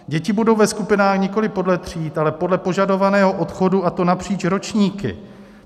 Děti budou ve skupinách nikoliv podle tříd, ale podle požadovaného odchodu, a to napříč ročníky.